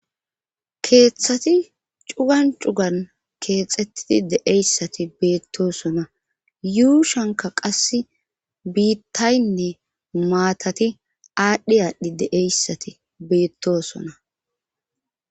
keeththati cugan cugan keexettidi deeyssati beettosona. yuu shanka qasse biittaynne maatati aadhdhi aadhdhi deeyssati beettosona.